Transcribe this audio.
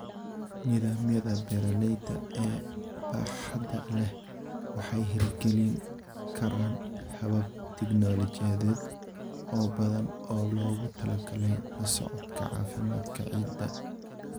Nidaamyada beeralayda ee baaxadda leh waxay hirgelin karaan habab tignoolajiyadeed oo badan oo loogu talagalay la socodka caafimaadka ciidda.